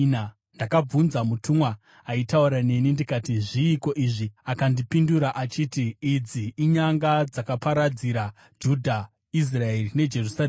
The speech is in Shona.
Ndakabvunza mutumwa aitaura neni ndikati, “Zviiko izvi?” Akandipindura achiti, “Idzi inyanga dzakaparadzira Judha, Israeri neJerusarema.”